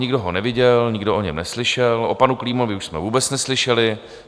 Nikdo ho neviděl, nikdo o něm neslyšel, o panu Klímovi už jsme vůbec neslyšeli.